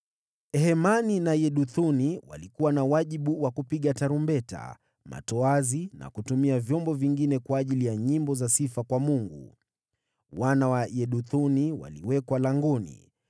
Hemani na Yeduthuni walikuwa na wajibu wa kupiga tarumbeta, matoazi na kutumia vyombo vingine kwa ajili ya nyimbo za sifa kwa Mungu. Wana wa Yeduthuni waliwekwa langoni.